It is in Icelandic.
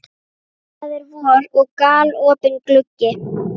Það er vor og galopinn gluggi.